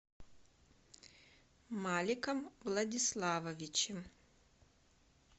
маликом владиславовичем